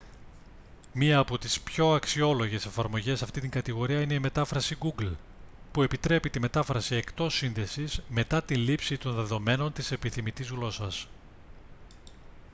μία από τις πιο αξιόλογες εφαρμογές σε αυτήν την κατηγορία είναι η μετάφραση google που επιτρέπει τη μετάφραση εκτός σύνδεσης μετά τη λήψη των δεδομένων της επιθυμητής γλώσσας